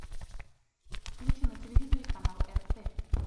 включи на телевизоре канал рт